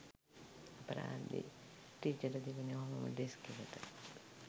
අපරාදේ ටිචට තිබුනේ ඔහොමම ඩෙස්ක් එකට